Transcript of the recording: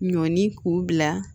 Ɲɔni k'u bila